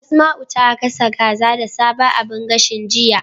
Asma'u ta gasa kaza da sabon abun gashin, jiya.